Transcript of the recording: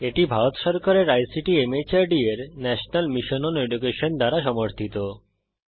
এটি ভারত সরকারের আইসিটি মাহর্দ এর ন্যাশনাল মিশন ওন এডুকেশন দ্বারা সমর্থিত